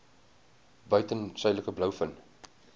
buiten suidelike blouvin